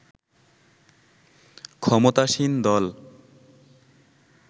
ক্ষমতাসীন দল